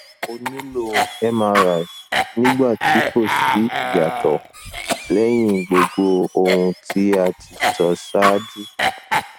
o nilo mri nigba ti ko si iyato leyin gbogbo ohun ti a ti so saaju